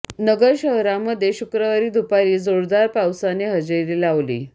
नगर नगर शहरामध्ये शुक्रवारी दुपारी जोरदार पावसाने हजेरी लावली